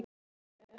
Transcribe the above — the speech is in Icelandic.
Hann heitir Hannes.